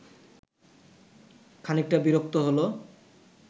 খানিকটা বিরক্ত হলো